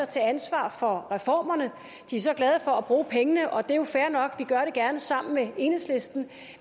tage ansvar for reformerne de er så glade for at bruge pengene og det er jo fair nok vi gør det gerne sammen med enhedslisten